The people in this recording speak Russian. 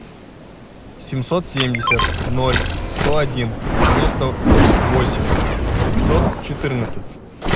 семьсот семьдесят ноль сто один девяносто восемь пятьсот четырнадцать